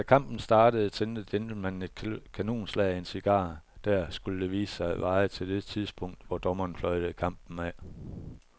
Da kampen startede tændte gentlemanen et kanonslag af en cigar, der, skulle det vise sig, varede til det tidspunkt, hvor dommeren fløjtede kampen af.